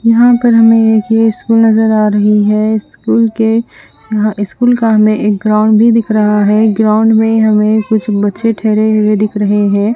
यहाँ पर हमे एक ये स्कूल नजर आ रही है स्कूल के स्कूल का हमे एक ग्राउंड भी दिख रहा है ग्राउंड में हमे कुछ बच्चे ढहरे हुई दिख रहे है।